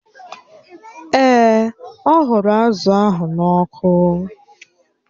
Èè, ọ ghụrụ azụ̀ ahụ n'ọkụ